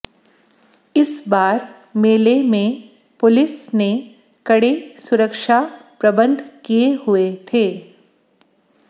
इस बार मेले में पुलिस ने कड़े सुरक्षा प्रबंध किये हुये थे